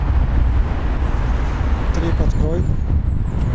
трип открой